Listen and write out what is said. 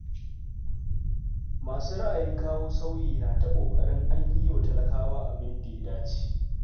Masu ra'ayin kawo sauyi na ta ƙoƙarin an yi wa talakawa abin da ya dace.